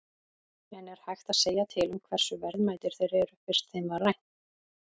En er hægt að segja til um hversu verðmætir þeir eru, fyrst þeim var rænt?